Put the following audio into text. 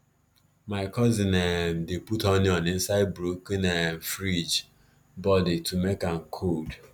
my cousin um dey put onion inside broken um fridge body to make am cold